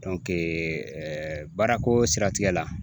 baarako siratigɛ la